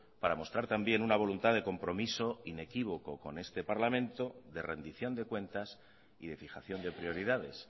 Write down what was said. para mostrar también una voluntad de compromiso inequívoco con este parlamento de rendición de cuentas y de fijación de prioridades